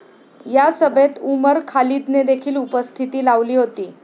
या सभेत उमर खालिदनेदेखील उपस्थिती लावली होती.